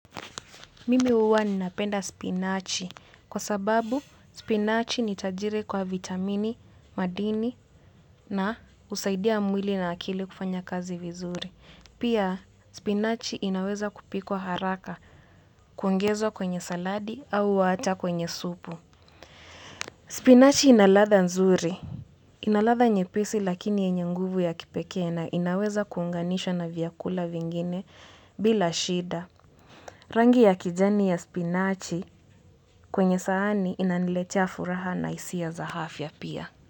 Mimi huwa ninapenda spinachi kwa sababu spinachi ni tajiri kwa vitamini, madini na husaidia mwili na akili kufanya kazi vizuri. Pia spinachi inaweza kupikwa haraka, kuongezwa kwenye saladi au hata kwenye supu. Spinachi ina latha nzuri. Ina ladha nyepesi lakini yenye nguvu ya kipekee na inaweza kuunganishwa na vyakula vingine bila shida. Rangi ya kijani ya spinachi kwenye sahani inaniletea furaha na hisia za afya pia.